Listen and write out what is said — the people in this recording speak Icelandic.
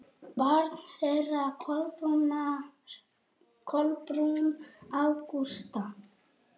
Barn þeirra Kolbrún Ágústa.